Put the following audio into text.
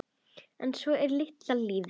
En svona er litla lífið.